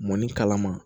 Mɔni kalama